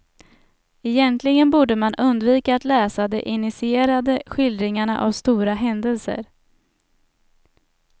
Egentligen borde man undvika att läsa de initierade skildringarna av stora händelser.